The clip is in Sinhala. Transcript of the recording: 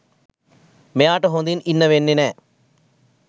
මෙයාට හොදින් ඉන්න වෙන්නෙ නෑ.